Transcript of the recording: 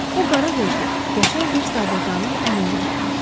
O qara gözlü, qəşəng bir sadəqanın əlindən tutmuşdu.